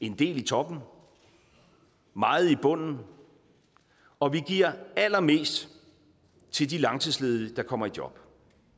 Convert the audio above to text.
en del i toppen meget i bunden og vi giver allermest til de langtidsledige der kommer i job